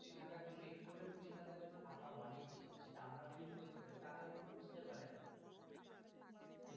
খুশি থাকার জন্য একটু হলেও খুশি থাকার জন্য টাকা অনেক যেটা আমরা feel করতে পারি তারা হয়তো বুঝতে পারেনা।